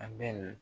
A bɛ na